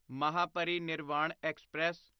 Mahaparinirvan express